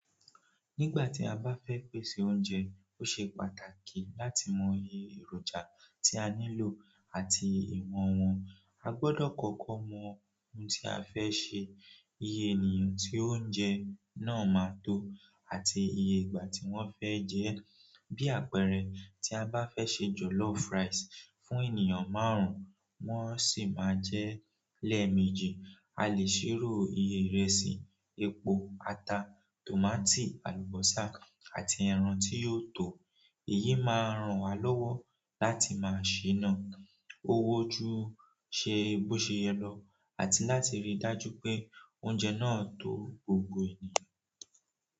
Nígbà tí a bá fẹ́ pèsè oúnjẹ, ó ṣe pàtàkì láti mọ iye èròjà tí a nílò àti ìwọ̀n wọn. A gbọdọ̀ kọ́kọ́ mọ ohun tí a fẹ́ sè, iye ènìyàn tí oúnjẹ náà máa tó, àti iye ìgbà tí wọ́n fẹ́ jẹ ẹ́. Bí àpẹẹrẹ, tí a bá fẹ́ ṣe jọ̀lọ́fú ráisì fún ènìyàn márùn-ún, wọ́n sì máa jẹ lẹ́ẹ̀mejì, a lè ṣírò iye ìrẹsì, epo, ata, tòmátì, àlùbọ́sà, àti ẹran tí yóò tò. Èyí máa ràn wá lọ́wọ́ láti máa ṣìnà owó ju ṣe bó ṣe yẹ lọ àti láti rí i dájú pé oúnjẹ náà tó gbogbo ènìyàn.